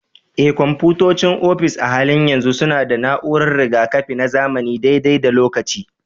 Eh, kwamfutocin ofis a halin yanzu suna da na'urar riga-kafi na zamani dai-dai da lokaci.